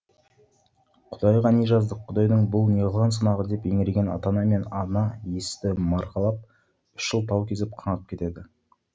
құдайға не жаздық құдайдың бұл неғылған сынағы деп еңіреген ата ана мен ана есті арқалап үш жыл тау кезіп қаңғып кетеді